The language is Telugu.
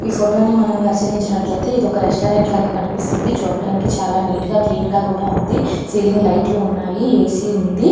ఈ ఫోటో ని మనం పరిశీలించినట్లయితే ఒక రెస్టారెంట్ లాగా అనిపిస్తుంది. చూడ్డానికి చాలా నీట్ గా క్లీన్ గా కూడా ఉంది. సీలింగ్ లైట్లు ఉన్నాయి ఏ. సీ. ఉంది.